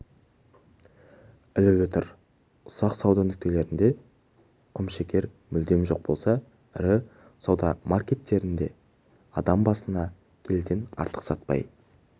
ілулі тұр ұсақ сауда нүктелерінде құмшекер мүлдем жоқ болса ірі супермаркеттерадам басына келіден артық сатпай